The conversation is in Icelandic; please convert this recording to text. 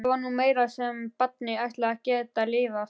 Það var nú meira sem barnið ætlaði að geta lifað.